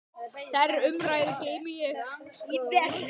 Þær umræður geymi ég vel.